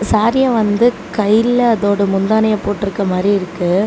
சாரிய வந்து கைல அதோட முந்தானிய போட்ருக்க மாரி இருக்கு.